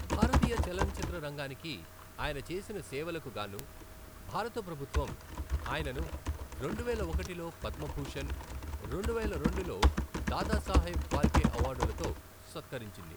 భారతీయ చలనచిత్ర రంగానికి ఆయన చేసిన సేవలకు గాను భారత ప్రభుత్వం ఆయనను రెండువేల ఒకటిలో పద్మభూషణ్, రెండువేల రెండులో దాదా సాహెబ్ ఫాల్కే అవార్డులతో సత్కరించింది.